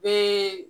Bɛɛ